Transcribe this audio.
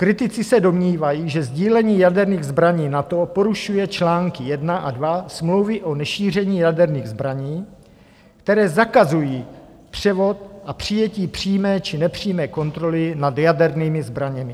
Kritici se domnívají, že sdílením jaderných zbraní NATO porušuje články 1 a 2 Smlouvy o nešíření jaderných zbraní, které zakazují převod a přijetí přímé či nepřímé kontroly nad jadernými zbraněmi.